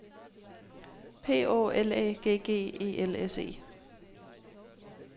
P Å L Æ G G E L S E